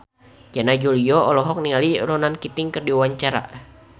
Yana Julio olohok ningali Ronan Keating keur diwawancara